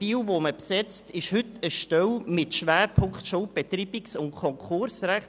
Die zu besetzende Stelle in Biel ist eine Stelle mit Schwerpunkt Schuldbetreibungs- und Konkursrecht.